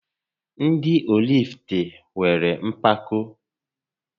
Ndị Ọrifite nwéré mpako